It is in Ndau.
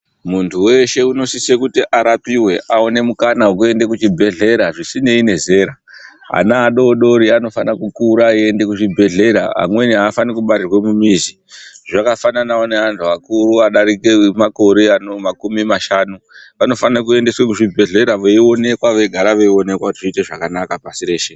Muntu weshe unosise kuti arapiwe aone mukana wekuende kuchibhedhlera zvisinei nezera ana adodori anofana kukura eiende kuchibhedhlera amweni Aafani kubarirwe mumizi zvakafanane neantu akuru adarike makore ano makumi mashanu vanofanike kuendeswe kuzvibhedhlera veionekwa veigara veionekwa kuti zviite zvakanaka pasi reshe.